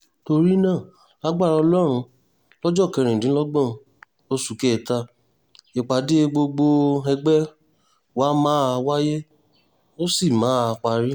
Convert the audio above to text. torí náà lagbára ọlọ́run lọ́jọ́ kẹrìndínlọ́gbọ̀n oṣù kẹta ìpàdé gbọgbẹ̀ọ́ ẹgbẹ́ wa máa wáyé ó sì máa parí